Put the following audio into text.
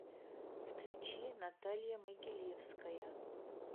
включи наталья могилевская